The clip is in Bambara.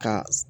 Ka